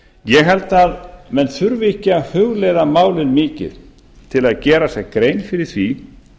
ég held að menn þurfi ekki að hugleiða málið mikið til að gera sér grein fyrir því